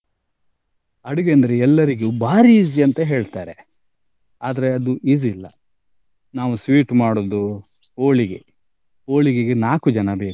ಅಡಿಗೆ ಅಂದ್ರೆ ಎಲ್ಲರಿಗೂ ಬಾರಿ easy ಅಂತ ಹೇಳ್ತಾರೆ ಆದ್ರೆ ಅದು easy ಇಲ್ಲ ನಾವು sweet ಮಾಡುದು ಹೋಳಿಗೆ, ಹೋಳಿಗೆಗೆ ನಾಕು ಜನ ಬೇಕು.